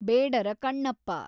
Bedara Kannappa